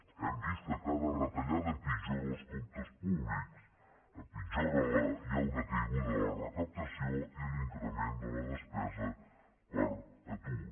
hem vist que cada retallada empitjora els comptes públics hi ha una caiguda de la recaptació i l’increment de la despesa per atur